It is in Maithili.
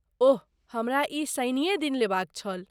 ओह, हमरा ई शनिए दिन लेबाक छल।